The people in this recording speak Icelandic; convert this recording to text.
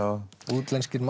útlenskir